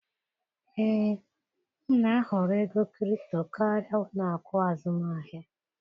Ee, m na-ahọrọ ego kripto karịa ụlọ akụ azụmahịa.